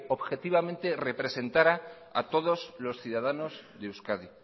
objetivamente representará a todos los ciudadanos de euskadi